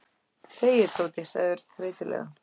Þegiðu, Tóti sagði Örn þreytulega.